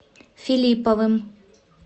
филипповым